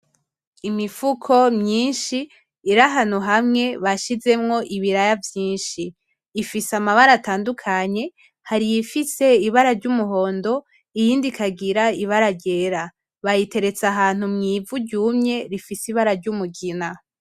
Imifuko myinshi iri ahantu hamwe bashizemwo ibiraya vyinshi . Ifise amabara atandukanye hari iyifise ibara ry’umuhondo iyindi ikagira ibara ryera. Bayiteretse ahantu mw’ivu ryumye rifise ibara ry’umugina .